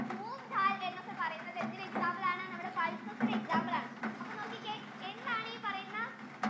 moong dal എന്നൊക്കെ പറയുന്നത് എന്തിന്റെ examples ആണ് നമ്മുടെ pulses ഇന് example ആണ് അപ്പൊ നോക്കിക്കേ എന്താണ് ഈ പറയുന്ന